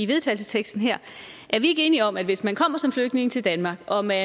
vedtagelse her er vi ikke enige om at hvis man kommer som flygtning til danmark og man